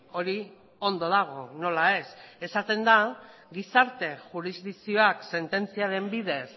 hori ondo dago nola ez esaten da gizarte jurisdikzioak sententziaren bidez